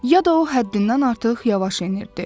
ya da o həddindən artıq yavaş enirdi.